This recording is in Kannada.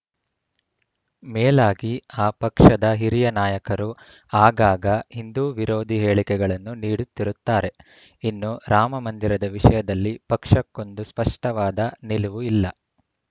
ಮೇಲಾಗಿ ಆ ಪಕ್ಷದ ಹಿರಿಯ ನಾಯಕರು ಆಗಾಗ ಹಿಂದು ವಿರೋಧಿ ಹೇಳಿಕೆಗಳನ್ನು ನೀಡುತ್ತಿರುತ್ತಾರೆ ಇನ್ನು ರಾಮಮಂದಿರದ ವಿಷಯದಲ್ಲಿ ಪಕ್ಷಕ್ಕೊಂದು ಸ್ಪಷ್ಟವಾದ ನಿಲುವು ಇಲ್ಲ